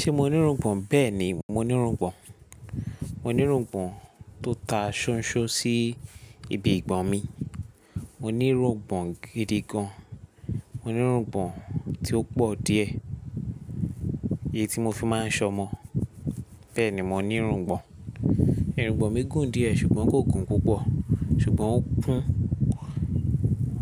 Ṣé mo ní irungbọ̀n? Bẹ́ẹ̀ni, mo ní irungbọ̀n. Mo ní irungbọ̀n tó ta ṣọ́nṣọ́n sí ibi ìgbọn mi. Mo ní irungbọ̀n gidi gan. Mo ní irungbọ̀n tí ó pọ̀ díẹ̀, èyí tí mo fi máa ń ṣọ ọmọ. Bẹ́ẹ̀ni, mo ní irungbọ̀n. Irungbọ̀n mi gùn díẹ̀ ṣùgbọ́n kò gùn púpọ̀, ṣùgbọ́n ó kún,